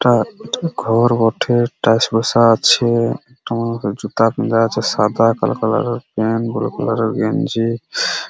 এটা একটা ঘর বটে টাইলস বসা আছে ওটা মনে হয় জুতা খোলা আছে সাদা কালো কালার -এর প্যান্ট বুলু কালার -এর গেঞ্জি --